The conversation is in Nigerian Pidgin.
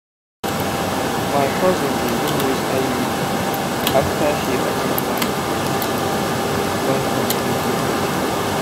my cousin begin use iud after she at ten d one community one community health talk.